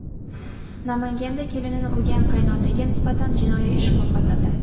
Namanganda kelinini urgan qaynotaga nisbatan jinoiy ish qo‘zg‘atildi.